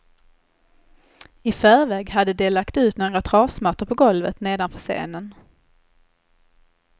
I förväg hade de lagt ut några trasmattor på golvet nedanför scenen.